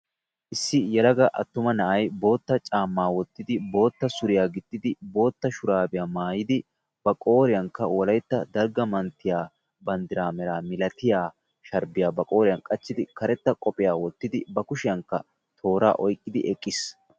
Issi yelaga attuma na'ay boottaa caammaa wottidi boottaa suriya gixxidi boottaa shuraabiya mayidi ba qooriyankka wolaytta dalgga manttiya banddiraa meraa milatiya sharbbiya ba qooriyan qachchidi karetta qophphiya wottidi ba kushshiyankka tooraa oyqqidi eqqiis.